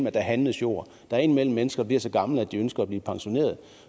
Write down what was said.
at der handles jord der er indimellem mennesker der bliver så gamle at de ønsker at blive pensioneret